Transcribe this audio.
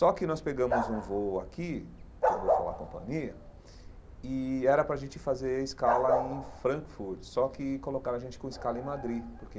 Só que nós pegamos um voo aqui, que eu não vou falar a companhia, e era para a gente fazer escala em Frankfurt, só que colocaram a gente com escala em Madrid, porque